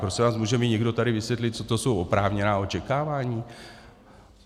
Prosím vás, může mi někdo tady vysvětlit, co to jsou oprávněná očekávání?